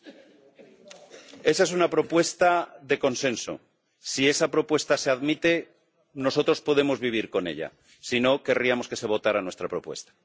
Señor presidente, esa es una propuesta de consenso. Si esa propuesta se admite, nosotros podemos vivir con ella. Si no, querríamos que se votara nuestra propuesta.